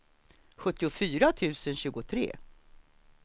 sjuttiofyra tusen tjugotre